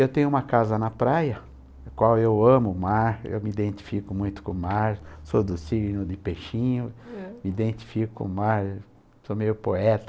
Eu tenho uma casa na praia, na qual eu amo o mar, eu me identifico muito com o mar, sou do signo de peixinho, eh? me identifico com o mar, sou meio poeta.